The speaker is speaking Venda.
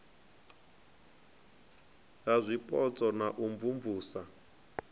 ha zwipotso na u imvumvusa